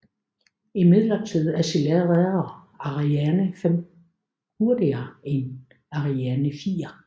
Imidlertid accelererer Ariane 5 hurtigere end Ariane 4